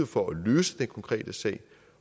for at løse den konkrete sag